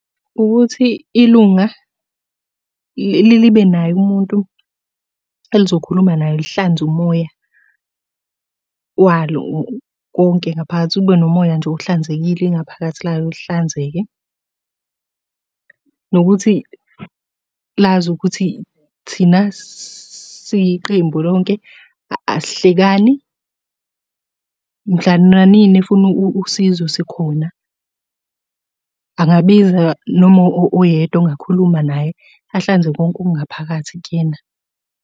Ukuthi ilunga libe naye umuntu elizokhuluma naye lihlanze umoya walo konke ngaphakathi, kube nomoya nje ohlanzekile ingaphakathi layo lihlanzeke. Nokuthi lazi ukuthi thina siyiqembu lonke asihlekani. Mhla nanini efuna usizo sikhona, angabiza noma oyedwa ongakhuluma naye ahlanze konke okungaphakathi kuyena.